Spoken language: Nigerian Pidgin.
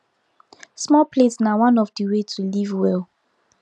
small plate na one of the way to live well